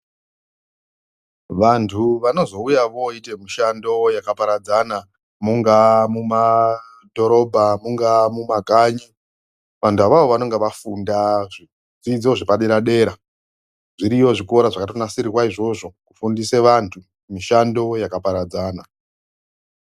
Vantu vanozouya vooite mushando yakaparadzana mungaa mumadhorobha, mungaa mumakanyi. Vantu avavo vanenga vafunda zvidzidzo zvepadera-dera. Zviriyo zvikora zvakatonasirirwa izvozvo kufundise vantu mishando yakaparadzana.